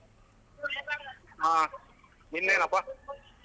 ಆ ಇನ್ನೇನಪ್ಪ?